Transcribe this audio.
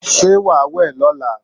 Ṣé wàá wẹ̀ lọ́la?